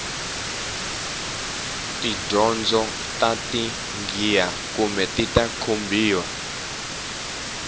tidyondzo ta taghiha khume tita kombiwa